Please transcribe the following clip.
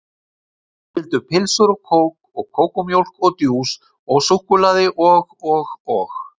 Þau vildu pylsur og kók og kókómjólk og djús og súkkulaði og og og